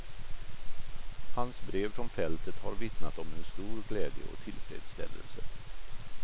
Hans brev från fältet har vittnat om en stor glädje och tillfredsställelse.